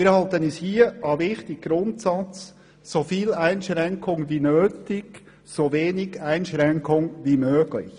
Wir halten uns hier an den wichtigen Grundsatz «So viel Einschränkung wie nötig, so wenig Einschränkung wie möglich.